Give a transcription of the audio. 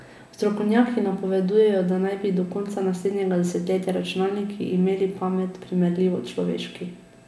Strokovnjaki napovedujejo, da naj bi do konca naslednjega desetletja računalniki imeli pamet, primerljivo človeški.